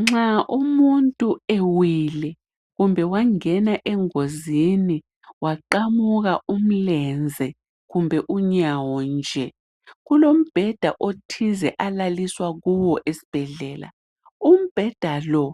Nxa umuntu ewele wangena engozini kumbe wephuka imlenze kumbe inyawo nje kulombheda othize alalisea kuwo esibhedlela umbheda lo